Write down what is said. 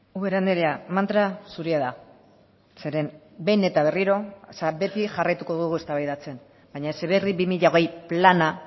ubera andrea mantra zurea da zeren behin eta berriro beti jarraituko dugu eztabaidatzen baina heziberri bi mila hogei plana